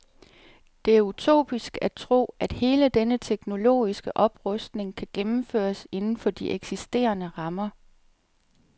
Det er utopisk at tro, at hele denne teknologiske oprustning kan gennemføres inden for de eksisterende rammer.